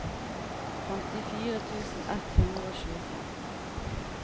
femtifire tusen ett hundre og tjuefem